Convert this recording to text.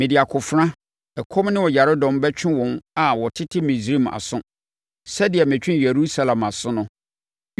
Mede akofena, ɛkɔm ne ɔyaredɔm bɛtwe wɔn a wɔtete Misraim aso, sɛdeɛ metwee Yerusalem aso no.